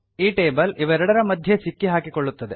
ಈ ಟೇಬಲ್ ಇವೆರಡರ ಮಧ್ಯೆ ಸಿಕ್ಕಿಹಾಕಿಕೊಳ್ಳುತ್ತದೆ